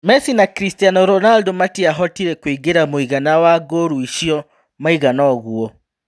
Mesi na Chris Ronando matiahotire kũingĩria mũigana wa ngũru icio maigana-uguo.